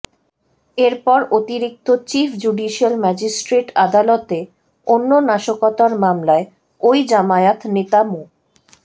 এরপর অতিরিক্ত chief judicial magistrate আদালতে অন্য নাশকতার মামলায় ওই জামায়াত নেতা মো